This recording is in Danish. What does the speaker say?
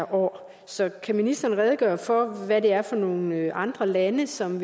år så kan ministeren redegøre for hvad det er for nogle andre lande som